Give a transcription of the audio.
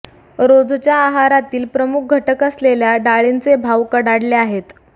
रोजच्या आहारातील प्रमुख घटक असलेल्या डाळींचे भाव कडाडले आहेत